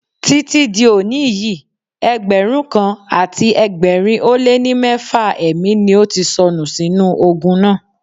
Títí di òní yìí, Ẹgbẹ̀rún kan àti ẹgbẹ̀rin ó lé ní mẹ́fà ẹ̀mí ni ó ti sọnù sínú ogun náà.